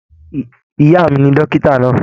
Ìyá mí ní dókítà náà.